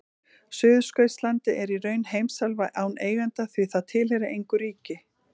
Suðurskautslandið er í raun heimsálfa án eiganda því það tilheyrir engu ríki.